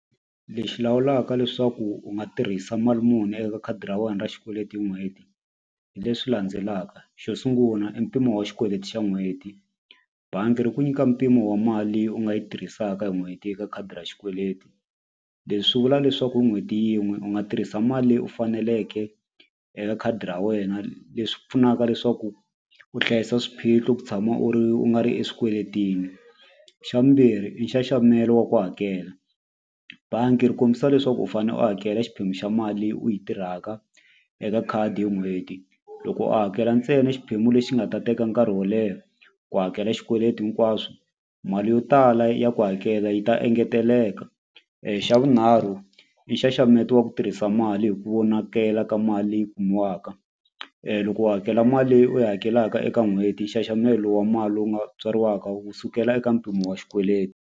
Lexi lawulaka leswaku u nga tirhisa mali muni eka khadi ra wena ra xikweleti hi n'hweti hi leswi landzelaka xo sungula i mpimo wa xikweleti xa n'hweti bangi ri ku nyika mpimo wa mali leyi u nga yi tirhisaka hi n'hweti eka khadi ra xikweleti leswi swi vula leswaku hi n'hweti yin'we u nga tirhisa mali leyi u faneleke eka khadi ra wena leswi pfunaka leswaku u hlayisa swiphiqo ku tshama u ri u nga ri exikweleteni xa vumbirhi i nxaxamelo wa ku hakela bangi ri kombisa leswaku u fane u hakela xiphemu xa mali leyi u yi tirhaka eka khadi hi n'hweti loko u hakela ntsena xiphemu lexi nga ta teka nkarhi wo leha ku hakela xikweleti hinkwaswo mali yo tala ya ku hakela yi ta engeteleka xa vunharhu i nxaxameto wa ku tirhisa mali hi ku vonakela ka mali leyi kumiwaka loko u hakela mali leyi u yi hakelaka eka n'hweti nxaxamelo wa mali lowu nga tswariwaka wu sukela eka mpimo wa xikweleti.